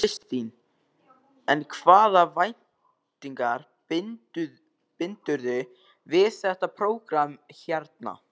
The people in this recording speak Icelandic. Þóra Kristín: En hvaða væntingar bindurðu við þetta prógramm hérna?